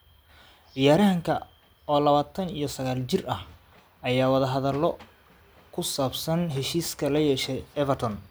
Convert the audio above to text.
Ciyaaryahanka oo labatan iyo sagal jir ah, ayaa wadahadalo ku saabsan heshiiska la yeeshay Everton.